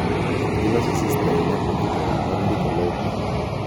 Giloso sistem mar dijital mar ndiko lope.